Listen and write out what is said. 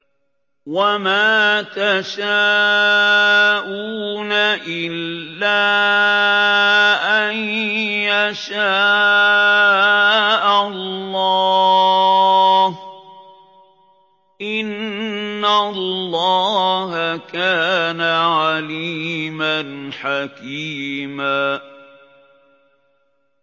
وَمَا تَشَاءُونَ إِلَّا أَن يَشَاءَ اللَّهُ ۚ إِنَّ اللَّهَ كَانَ عَلِيمًا حَكِيمًا